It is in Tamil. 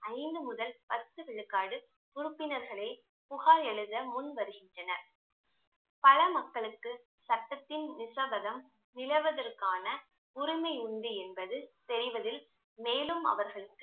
ஐந்து முதல் பத்து விழுக்காடு உறுப்பினர்களை புகார் எழுத முன் வருகின்றனர் பல மக்களுக்கு சட்டத்தின் நிசபதம் நிலவதற்கான உரிமை உண்டு என்பது தெரிவதில் மேலும் அவர்களுக்கு